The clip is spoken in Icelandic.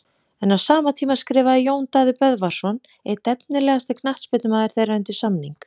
En á sama tíma skrifaði Jón Daði Böðvarsson einn efnilegasti knattspyrnumaður þeirra undir samning.